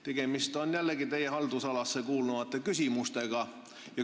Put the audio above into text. Tegemist on jällegi teie haldusalasse kuuluvate küsimustega.